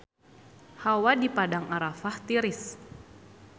Hawa di Padang Arafah tiris